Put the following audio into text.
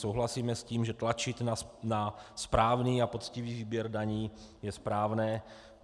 Souhlasíme s tím, že tlačit na správný a poctivý výběr daní je správné.